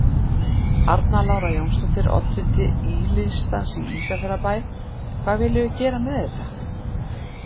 Arna Lára Jónsdóttir, oddviti Í-listans í Ísafjarðarbæ: Hvað viljum við gera með þetta?